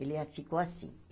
Ele a ficou assim.